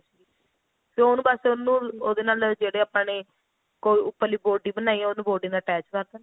ਤੇ ਉਹਨੂੰ ਬੱਸ ਉਹਨੂੰ ਉਹਦੇ ਨਾਲ ਜਿਹੜੇ ਆਪਾਂ ਨੇ ਉੱਪਰਲੀ body ਬਣਾਈ ਆ body ਨਾਲ attach ਕਰਦੋ